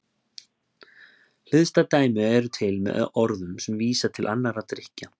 Hliðstæð dæmi eru til með orðum sem vísa til annarra drykkja.